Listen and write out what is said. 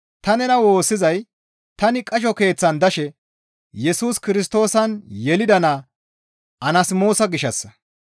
Ta nena woossizay tani qasho keeththan dashe Yesus Kirstoosan yelida naa Anasmoosa gishshassa.